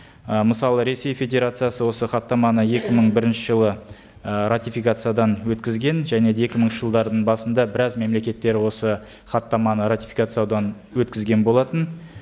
ы мысалы ресей федерациясы осы хаттаманы екі мың бірінші жылы ы ратификациядан өткізген және де екі мыңыншы жылдардың басында біраз мемлекеттер осы хаттаманы ратификациялаудан өткізген болатын